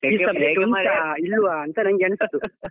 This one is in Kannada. ಹೌದಾ ಇಲ್ವಾ ನಂಗೆ ಅನಿಸುದು.